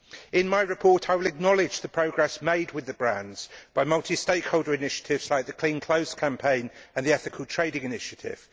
In my report I will acknowledge the progress made with the brands by multi stakeholder initiatives like the Clean Clothes Campaign and the Ethical Trading Initiative.